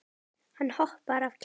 Hann hoppar af kæti.